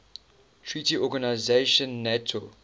treaty organisation nato